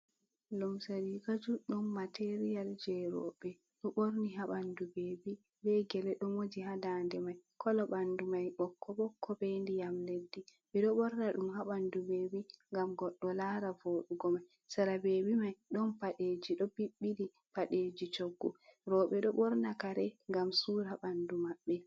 Lumse riga juɗɗum material je roɓɓe, ɗo ɓorni ha ɓanɗu bebi be gele dot moji ha dande mai kola ɓanɗu mai ɓokko ɓokko be ndiyam leddi. Ɓeɗo ɓorna ɗum ha ɓandu bebi ngam goɗɗo lara voɗugo mai, sera bebi mai ɗon paɗeji ɗo ɓi ɓili paɗeji coggu, roɓɓe ɗo ɓorna kare ngam sura ɓanɗu maɓbe.